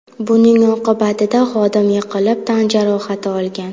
Buning oqibatida xodim yiqilib tan jarohati olgan.